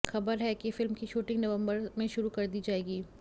खबर है कि फिल्म की शूटिंग नवम्बर में शुरु कर दी जाएगी